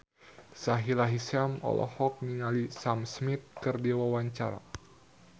Sahila Hisyam olohok ningali Sam Smith keur diwawancara